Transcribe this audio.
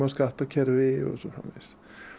skattakerfi og svo framvegis